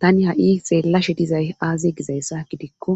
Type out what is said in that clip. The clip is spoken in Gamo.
Tani ha7i xeellashe dizay aaze gizayssa gidikko